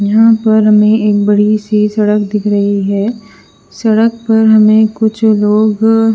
यहा पर हमे एक बड़ी सी सडक दिख रही है सडक पर हमे कुछ लोग--